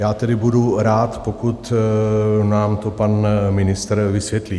Já tedy budu rád, pokud nám to pan ministr vysvětlí.